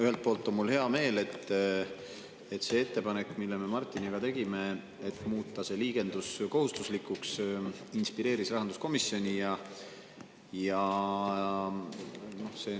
Ühelt poolt on mul hea meel, et see ettepanek, mille me Martiniga tegime – muuta see liigendus kohustuslikuks –, inspireeris rahanduskomisjoni ja see on nüüd arvatavasti saamas seaduseks.